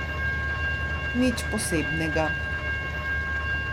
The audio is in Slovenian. Nič posebnega.